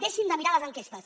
deixin de mirar les enquestes